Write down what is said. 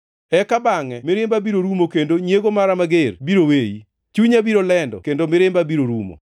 Eka bangʼe mirimba biro rumo kendo nyiego mara mager biro weyi; chunya biro lendo kendo mirimba biro rumo.